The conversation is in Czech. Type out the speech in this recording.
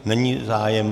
Není zájem.